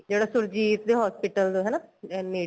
ਜਿਹੜਾ ਸੁਰਜੀਤ ਤੇ hospital ਦੇ ਹਨਾ ਅਹ ਨੇੜੇ